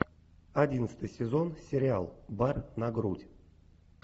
одиннадцатый сезон сериал бар на грудь